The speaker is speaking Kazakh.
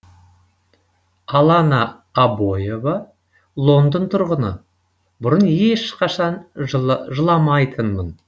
алана абоева лондон тұрғыны бұрын ешқашан жыламайтынмын